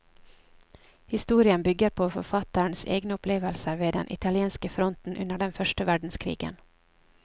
Historien bygger på forfatterens egne opplevelser ved den italienske fronten under den første verdenskrigen.